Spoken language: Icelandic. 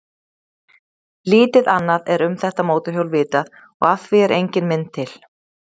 Lítið annað er um þetta mótorhjól vitað og af því er engin mynd til.